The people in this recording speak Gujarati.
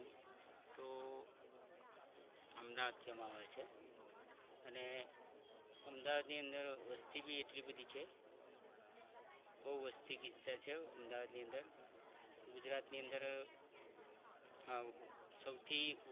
અમદાવાદ કહેવામાં આવે છે અને અમદાવાદની અંદર વસ્તી પણ એટલી બધી છે બહુ વસ્તી ગીચતા છે અમદાવાદની અંદર ગુજરાતની અંદર સૌથી